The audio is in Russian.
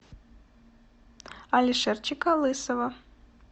алишерчика лысова